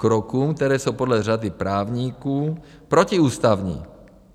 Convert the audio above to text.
Krokům, které jsou podle řady právníků protiústavní?